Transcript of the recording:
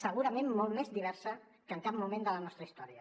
segurament molt més diversa que en cap moment de la nostra història